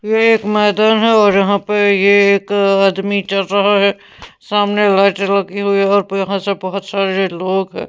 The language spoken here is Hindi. ये एक मैदान है और यहाँ पर ये एक आदमी चल रहा है सामने लाइट लगी हुई है और यहाँ से बहुत सारे लोग हैं।